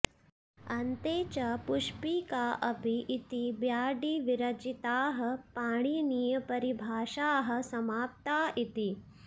अन्ते च पुष्पिकाऽपि इति ब्याडिविरचिताः पाणिनीयपरिभाषाः समाप्ता इति